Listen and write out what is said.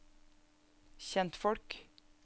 kjentfolk